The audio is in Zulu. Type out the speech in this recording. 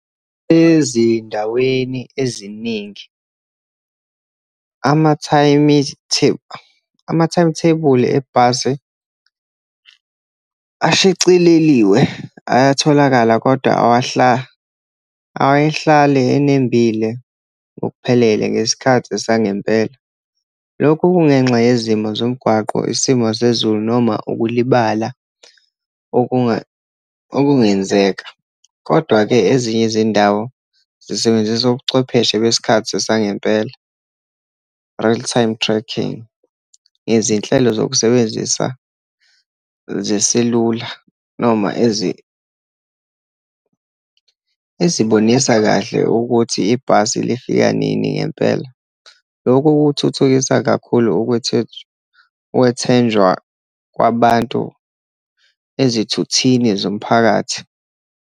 Ezindaweni eziningi ama-timetable ebhasi ashicileliwe, ayatholakala kodwa awuyehlali enembile ngokuphelele ngesikhathi sangempela. Lokhu kungenxa yezimo zomgwaqo, isimo sezulu, noma ukulibala okungenzeka. Kodwa-ke ezinye izindawo zisebenzisa ubuchwepheshe besikhathi sangempela, real time tracking, ngezinhlelo zokusebenzisa zesilula, noma ezibonisa kahle ukuthi ibhasi lifika nini ngempela. Lokhu kuthuthukisa kakhulu ukwethenjwa kwabantu ezithuthini zomphakathi.